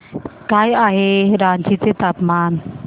काय आहे रांची चे तापमान